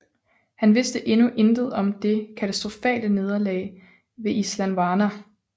Han vidste endnu intet om det katastrofale nederlag ved Isandlwana